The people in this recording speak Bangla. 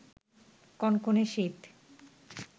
কনকনে শীতে